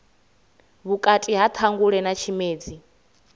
vhukati ha ṱhangule na tshimedzi